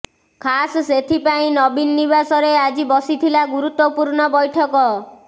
ଖାସ୍ ସେଥିପାଇଁ ନବୀନ ନିବାସରେ ଆଜି ବସିଥିଲା ଗୁରୁତ୍ୱପୂର୍ଣ୍ଣ ବୈଠକ